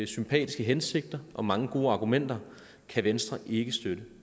sympatiske hensigter og mange gode argumenter kan venstre ikke støtte